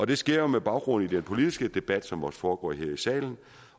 det sker jo med baggrund i den politiske debat som også foregår her i salen